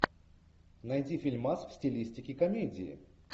найди фильмас в стилистике комедии